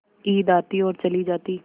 ईद आती और चली जाती